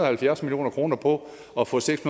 og halvfjerds million kroner på at få seks